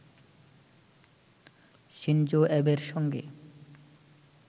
Shinzo অ্যাবের সঙ্গে